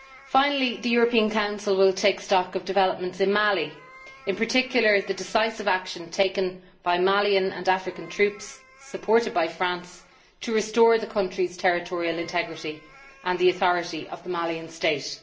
Finally, the European Council will take stock of developments in Mali, in particular the decisive action taken by Malian and African troops, supported by France, to restore the country's territorial integrity and the authority of the Malian state.